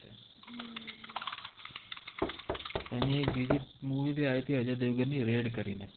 એનિ એક બિજિ મુવિ બિ આયિ તિ રૈદ કરિ નૈ